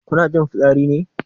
Kuna jin fitsari ne?